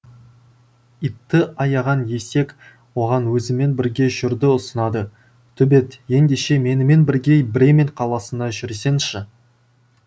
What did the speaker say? итті аяған есек оған өзімен бірге жүруді ұсынады төбет ендеше менімен бірге бремен қаласына жүрсеңші